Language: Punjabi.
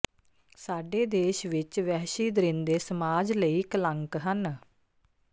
ਸਾਡੇ ਦੇਸ਼ ਵਿੱਚ ਵਹਿਸ਼ੀ ਦਰਿੰਦੇ ਸਮਾਜ ਲਈ ਕਲੰਕ ਹਨ